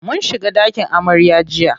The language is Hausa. Mun shiga ɗakin amarya jiya.